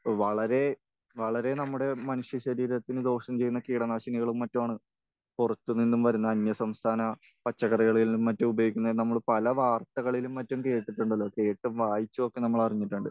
വളരേ വളരേ നമ്മുടെ മനുഷ്യശരീരത്തിന് ദോഷം ചെയ്യുന്ന കീടനാശിനികളും മറ്റുമാണ് പുറത്ത് നിന്നും വരുന്ന അന്യസംസ്ഥാന പച്ചക്കറികളിലും മറ്റും ഉപയോഗിക്കുന്നത് എന്ന് നമ്മൾ പല വാർത്തകളിലും മറ്റും കേട്ടിട്ടുണ്ടത്. കേട്ടും വായിച്ചും ഒക്കെ നമ്മൾ അറിഞ്ഞിട്ടുണ്ട്.